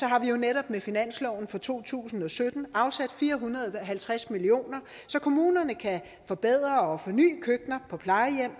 har vi jo netop med finansloven for to tusind og sytten afsat fire hundrede og halvtreds million kr så kommunerne kan forbedre og forny køkkener på plejehjem